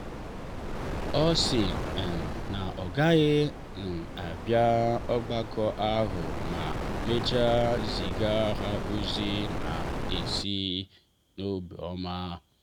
ọ sị um na ọ gaghị um abịa ogbako ahụ ma mechaa ziga ha ozi na-esi n’obiọma.